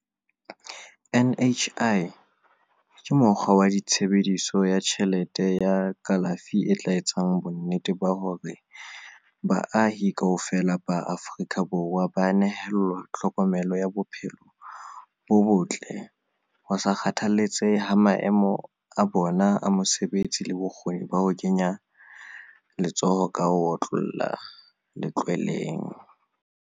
NHI ke mokgwa wa tshebe diso ya tjhelete ya kalafi e tla etsang bonnete ba hore baahi kaofela ba Aforika Borwa ba nehelwa tlhokomelo ya bophe lo bo botle ho sa kgathalletse he maemo a bona a mosebetsi le bokgoni ba ho kenya letso ho ka ho otlolloha letlweleng.